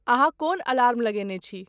अहाँकोन alarm लगेने छी